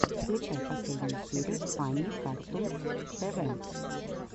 включай последнюю серию фанни картунс тв